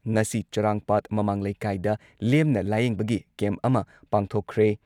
ꯉꯁꯤ ꯆꯔꯥꯡꯄꯥꯠ ꯃꯃꯥꯡ ꯂꯩꯀꯥꯏꯗ ꯂꯦꯝꯅ ꯂꯥꯌꯦꯡꯕꯒꯤ ꯀꯦꯝꯞ ꯑꯃ ꯄꯥꯡꯊꯣꯛꯈ꯭ꯔꯦ ꯫